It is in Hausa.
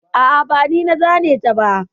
A'a, ba ni na zane ta ba.